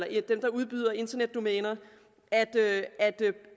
eller dem der udbyder internetdomæner